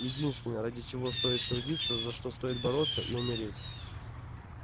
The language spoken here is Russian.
единственное ради чего стоит трудиться за что стоит бороться и умереть